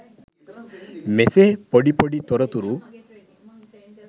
මෙසේ පොඩි පොඩි තොරතුරු